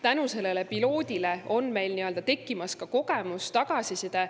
Tänu sellele piloodile on meil tekkimas ka kogemus, tagasiside.